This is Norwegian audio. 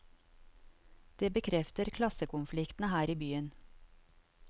Det bekrefter klassekonfliktene her i byen.